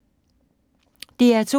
DR2